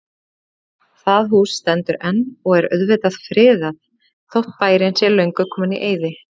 Það hús stendur enn og er auðvitað friðað, þótt bærinn sé löngu kominn í eyði.